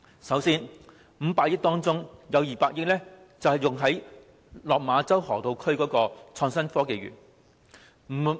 首先，在500億元撥款中，有200億元是用於落馬洲河套區的港深創新及科技園。